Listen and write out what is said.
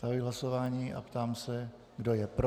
Zahajuji hlasování a ptám se, kdo je pro.